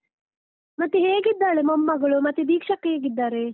ಮತ್ತೆ ಹೇಗಿದ್ದಾಳೆ ಮೊಮ್ಮಗಳು, ಮತ್ತೆ ದೀಕ್ಷಕ್ಕ ಹೇಗಿದ್ದಾರೆ?